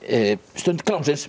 stund